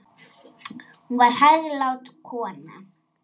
Hún var hæglát kona.